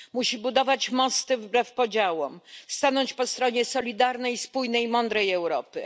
Musi budować mosty wbrew podziałom, stanąć po stronie solidarnej, spójnej i mądrej Europy.